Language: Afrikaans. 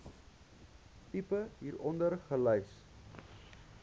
tipe hieronder gelys